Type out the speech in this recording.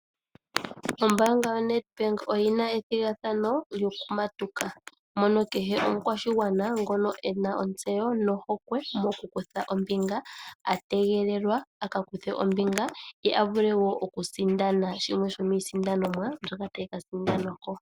Ombaanga yoNedbank oyi na ethigathano lyokumatuka mono kehe omukwashigwana ngono e li e na ontseyo nohokwe mokukutha ombinga a tegelelwa a kakuthe ombinga, ye a vule wo okusindana shimwe sho miisindanomwa mbyoka tayi ka sindanwa ko.